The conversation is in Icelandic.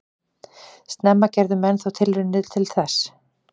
Snemma gerðu menn þó tilraunir til þess.